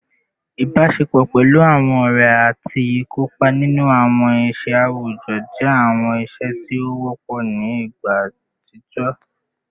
Ibaṣepọ pẹlu awọn ọrẹ ati ikopa ninu awọn iṣẹ awujọ jẹ awọn iṣe ti o wọpọ ni igba atijọ